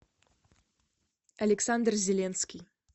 александр зеленский